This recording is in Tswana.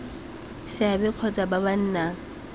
seabe kgotsa ba ba nang